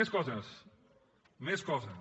més coses més coses